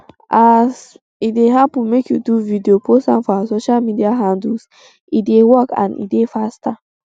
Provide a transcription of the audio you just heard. as um e dey happun make you do video post am for all our social media handles e dey work and e dey faster